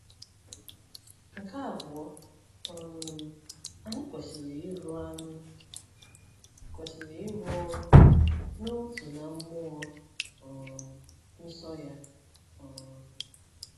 Nke abụọ, um anyị kwesịrị ịrụ anyị kwesịrị ịrụ ọrụ n’otu na mmụọ um nsọ ya. um